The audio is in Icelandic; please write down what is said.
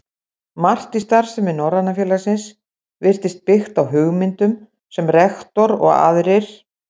Margt í starfsemi Norræna félagsins virtist byggt á hugmyndum, sem rektor og aðrir